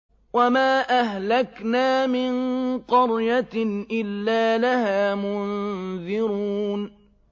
وَمَا أَهْلَكْنَا مِن قَرْيَةٍ إِلَّا لَهَا مُنذِرُونَ